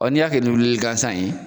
Ɔɔ n'i y'a kɛ ni wulili gansan ye